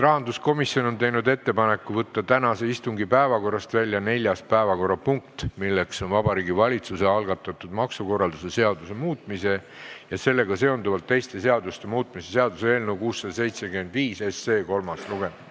Rahanduskomisjon on teinud ettepaneku võtta tänase istungi päevakorrast välja neljas päevakorrapunkt, milleks on Vabariigi Valitsuse algatatud maksukorralduse seaduse muutmise ja sellega seonduvalt teiste seaduste muutmise seaduse eelnõu kolmas lugemine.